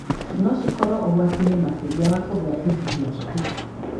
no cikorwo ũgwati-inĩ makĩria wa kũgĩa ADHD